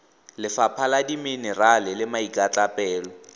lefapha la dimenerale le maikatlapelo